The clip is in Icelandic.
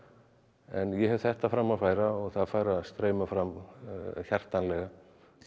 en ég hef þetta fram að færa og það fær að streyma fram hjartanlega